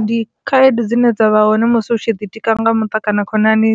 Ndi khaedu dzine dza vha hone musi hu tshi ḓi tika nga mutukana khonani